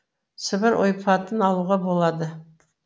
сібір ойпатын алуға болады